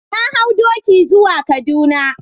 Na hau doki zuwa kaduna.